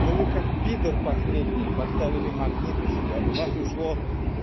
но вы как пидор последний поставили магнит у себя у вас ушло